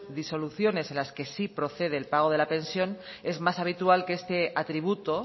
disoluciones en las que sí procede el pago de la pensión es más habitual que este atributo